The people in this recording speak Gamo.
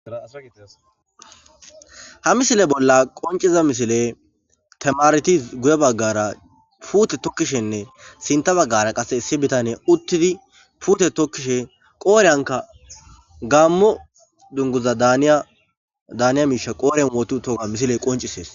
Ha missile bola qonc'iza missile tamareti guye bagara pute tokishene sinta bagara qase issi bitaney utidi pute tokishe qoriyanka gamo dunguza daniya daniya misha qoren wotiutoga missile qonc'ses.